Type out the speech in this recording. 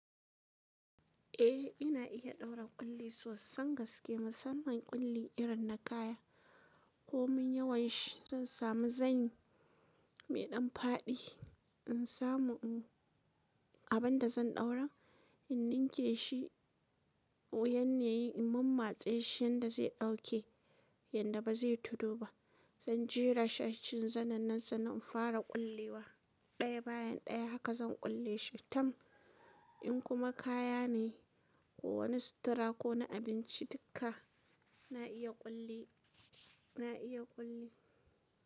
Eh ina iya ɗaura ƙulli sosai, gaske. Musamman ƙulli irin na kaya. Ko mun yawan shi, zan sami zanyi mai ɗan faɗi in samu abu abin da zan ɗaura, in ninke shi, yanne yi in mammatse shi yanda zai ɗauke yanda ba zai tudu ba. Zan jera shi a cikin zanen nan sannan in fara ƙullewa. Ɗaya bayan ɗaya haka zan kulle shi. Tam, in kuma kaya ne ko wani sutura ko na abinci dukka na iya ƙulli, na iya ƙulli.